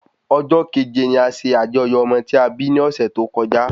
Ọjọ́ kẹ̀jẹ ni a ṣe àjọyọ̀ ọmọ tí a bí ni ọ̀sẹ̀ tó kọjá